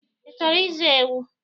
I chọrọ izu ewu?